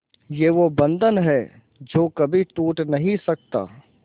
ये वो बंधन है जो कभी टूट नही सकता